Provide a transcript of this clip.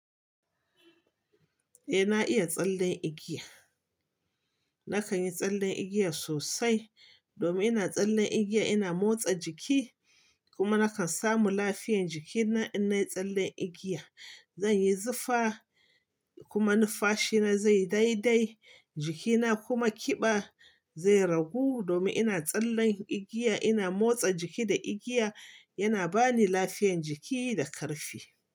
Eh na iya tsallen igiya. Nakan yi tsallen igiya sosai domin ina tsallen igiya ina motsa jiki kuma nakan samu lafiyan jikina in nayi tsallen igiya. Zanyi zufa kuma numfashi na zai dai dai, jikina kuma ƙiba zai ragu domin ina tsallen igiya ina motsa jiki da igiya yana bani lafiyan jiki da ƙarfi.